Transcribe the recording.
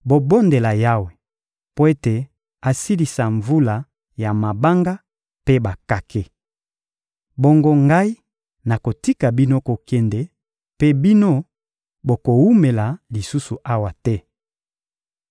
Bobondela Yawe mpo ete asilisa mvula ya mabanga mpe bakake. Bongo ngai nakotika bino kokende, mpe bino bokowumela lisusu awa te.